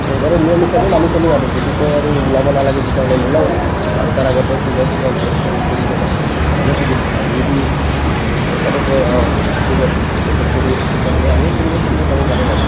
চৰকাৰৰ নিয়ম হিচাপে মানি চলিম আৰু যদি কই আৰু ওলাব নালাগে তিতাহ'লে নোলাও বাৰটাৰ আগতে ঘৰত পূজা-চূজা কৰি-চৰি কিনে ঘৰতে থাকিম আৰু যদি চৰকাৰে কই অ ঠিক আছে protect কৰি আছো তিতাহ'লে আমিও ফুৰিব চুৰিব যাব পাৰিম আৰু